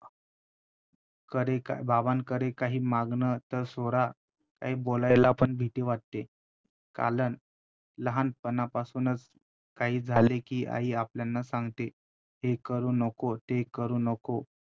कडे~ बाबांकडे काही मागणं तर सोडा काही बोलायला पण भीती वाटते, कारण लहानपणापासूनच काही झाले कि आई आपल्याला सांगते हे करू नको ते करू नको